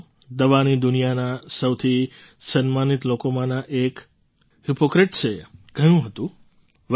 સાથીઓ દવાની દુનિયાના સૌથી સમ્માનિત લોકોમાંના એક હિપૉક્રેટ્સે કહ્યું હતું